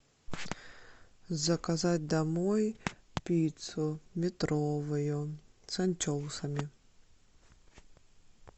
заказать домой пиццу метровую с анчоусами